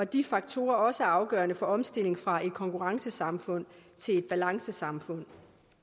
de faktorer også er afgørende for omstilling fra et konkurrencesamfund til et balancesamfund